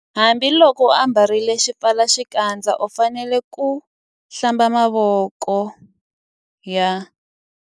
Hambiloko u ambarile xipfalaxikandza u fanele ku- Hlamba mavoko ya.